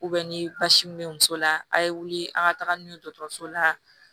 ni basi min bɛ muso la a' ye wuli an ka taga n'u ye dɔgɔtɔrɔso la